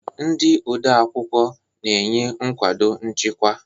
Ndị odeakwụkwọ na-enye nkwado nchịkwa.